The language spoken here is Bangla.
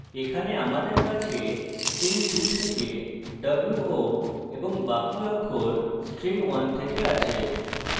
এখানে আমাদের কাছে string 2 থেকে wo এবং বাকি অক্ষর string 1 থেকে রয়েছে